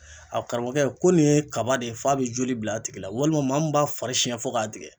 A karamɔgɔkɛ ko nin ye kaba de ye f'a be joli bil' a tigi la walima maa min b'a fari sɛn fo k'a tigɛ